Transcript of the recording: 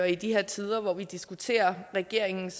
i de her tider hvor vi diskuterer regeringens